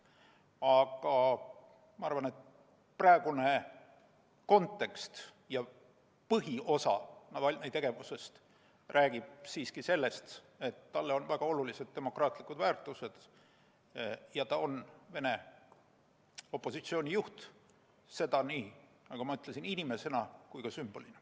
Aga ma arvan, et praegune kontekst ja põhiosa Navalnõi tegevusest räägib siiski sellest, et talle on väga olulised demokraatlikud väärtused ja ta on Venemaa opositsiooni juht, nagu ma ütlesin, nii inimesena kui ka sümbolina.